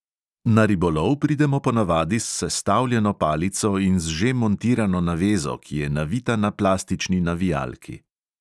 Na ribolov pridemo ponavadi s sestavljeno palico in z že montirano navezo, ki je navita na plastični navijalki.